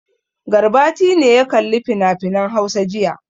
Garbati ne ya kalli finafinan Hausa jiya.